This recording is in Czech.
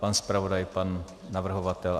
Pan zpravodaj, pan navrhovatel.